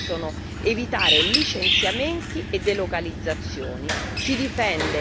soprattutto, si possono evitare licenziamenti e delocalizzazioni